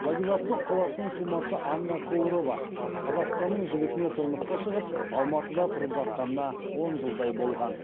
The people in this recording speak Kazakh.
владивосток қаласының тумасы анна коурова қазақстанның жігітіне тұрмысқа шығып алматыда тұрып жатқанына он жылдай болған